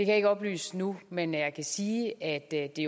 jeg ikke oplyse nu men jeg kan sige at det